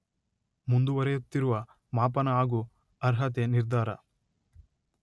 ಮುಂದುವರೆಯುತ್ತಿರುವ ಮಾಪನ ಹಾಗು ಅರ್ಹತೆ ನಿರ್ಧಾರ